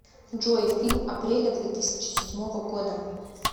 джой фильм апреля две тысячи седьмого года